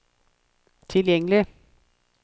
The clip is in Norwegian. tilgjengelig